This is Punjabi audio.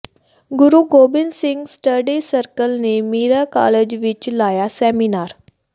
ਗੁਰੂ ਗੋਬਿੰਦ ਸਿੰਘ ਸਟੱਡੀ ਸਰਕਲ ਨੇ ਮੀਰਾ ਕਾਲਜ ਵਿਚ ਲਾਇਆ ਸੈਮੀਨਾਰ